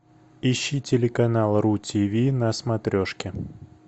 ищи телеканал ру тв на смотрешке